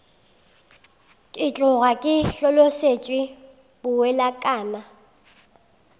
ke tloga ke hlolosetšwe bowelakalana